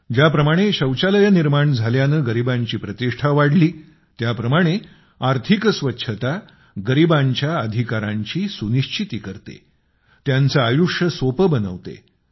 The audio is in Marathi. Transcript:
ज्याप्रमाणे शौचालये निर्माण झाल्याने गरिबांची प्रतिष्ठा वाढली त्याप्रमाणे आर्थिक स्वच्छता गरिबांच्या अधिकारांची सुनिश्चिती करते त्यांचे आयुष्य सोपे बनवते